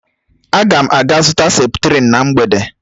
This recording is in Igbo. Ágà m aga zụta septrin na mgbede